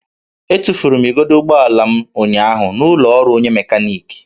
Etufuru m igodo ụgbọala m ụnyaahụ n'ụlọ ọrụ onye mekaniki